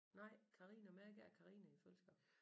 Nej Karina men jeg gav Karina i fødselsdagsgave